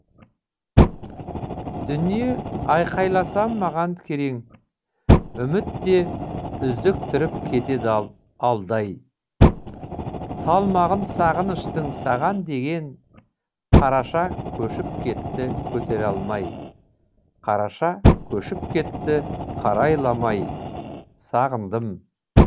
дүние айқайласам маған керең үміт те үздіктіріп кетеді алдай салмағын сағыныштың саған деген қараша көшіп кетті көтере алмай қараша көшіп кетті қарайламай сағындым